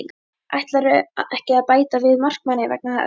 Ætlarðu ekki að bæta við markmanni vegna þess?